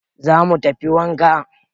Za mu tafi wanka